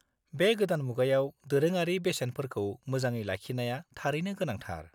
बे गोदान मुगायाव दोरोङारि बेसेनफोरखौ मोजाङै लाखिनाया थारैनो गोनांथार।